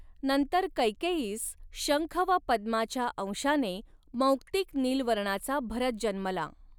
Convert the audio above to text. नंतर कैकेयीस शंख व पद्माच्या अंशाने मौक्तिक नील वर्णाचा भरत जन्मला.